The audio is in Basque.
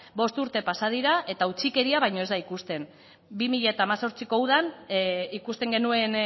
bost urte pasa dira eta utzikeria baino ez da ikusten bi mila hemezortziko udan ikusten genuen